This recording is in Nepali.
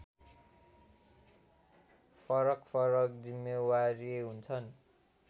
फरकफरक जिम्मेवारी हुन्छन्